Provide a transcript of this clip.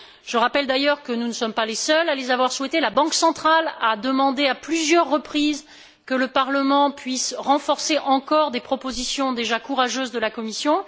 Je rappelle d'ailleurs que nous ne sommes pas les seuls à les avoir souhaités la Banque centrale a demandé à plusieurs reprises que le Parlement puisse renforcer encore des propositions déjà courageuses de la Commission.